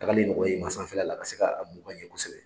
Tagali nɔgɔya i ma sanfɛla la ka se ka boli ka ɲɛ kosɛbɛ